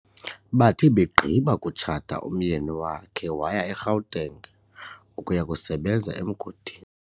Bathe begqiba kutshata umyeni wakhe waya eGauteng ukuya kusebenza emgodini.